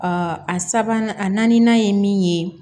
a sabanan a naaninan ye min ye